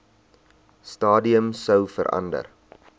stadium sou verander